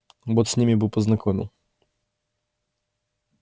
вот с ними бы познакомил